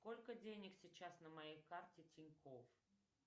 сколько денег сейчас на моей карте тинькофф